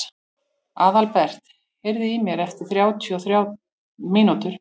Aðalbert, heyrðu í mér eftir þrjátíu og þrjár mínútur.